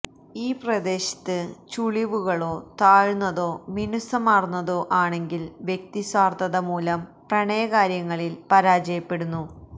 ഈ പ്രദേശത്ത് ചുളിവുകളോ താഴ്ന്നതോ മിനുസമാര്ന്നതോ ആണെങ്കില് വ്യക്തി സ്വാര്ത്ഥത മൂലം പ്രണയ കാര്യങ്ങളില് പരാജയപ്പെടുന്നു